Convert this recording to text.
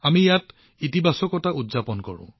আমি ইয়াত ইতিবাচকতা উদযাপন কৰো